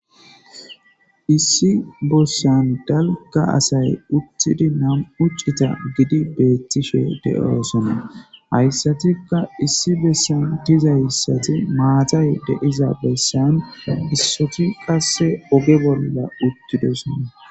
Issi bossan dalka asay uttidi nam uccita gidi beettishe de7oosona hayssatikka issi bessan dizayssati maatay deiza bessan issoti qasse oge bolla uttidosona.